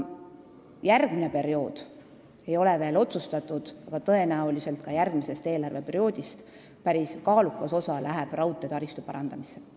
Järgmise perioodi tööd ei ole veel otsustatud, aga tõenäoliselt ka järgmisel eelarveperioodil läheb päris kaalukas summa raudteetaristu parandamiseks.